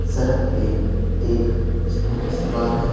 सड़क पे एक स्कूटी सवार है।